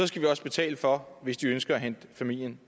skal vi også betale for hvis de ønsker at hente familien